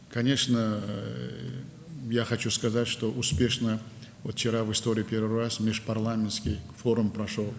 Əlbəttə, demək istəyirəm ki, dünən ilk dəfə tarixdə parlamentlərarası forum uğurla keçdi.